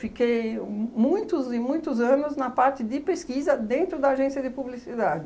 um muitos e muitos anos na parte de pesquisa dentro da agência de publicidade.